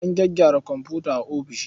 Ana gyaggyara komfuta a ofis.